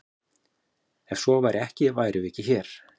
Ef svo væri ekki værum við ekki hér!